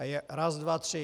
A je raz dva tři.